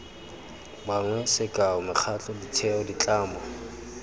bangwe sekao mekgatlho ditheo ditlamo